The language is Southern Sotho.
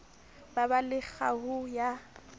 ba ba le kgaoho ya